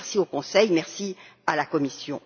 Merci au Conseil et merci à la Commission.